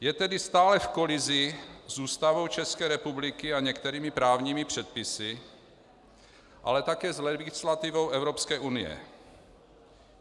Je tedy stále v kolizi s Ústavou České republiky a některými právními předpisy, ale také s legislativou Evropské unie.